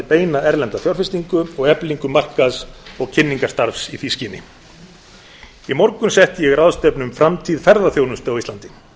beina erlenda fjárfestingu og eflingu markaðs og kynningarstarfs í því skyni í morgun setti ég ráðstefnu um framtíð ferðaþjónustu á íslandi